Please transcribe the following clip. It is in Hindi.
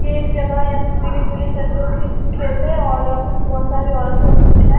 ये एक जगह है यहां पे पीली-पीली सरसों की खेत है और यहां पे बहोत सारी औरत है और कुछ है।